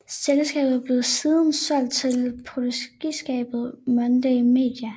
Selskabet blev siden solgt til produktionsselskabet Monday Media